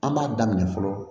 An b'a daminɛ fɔlɔ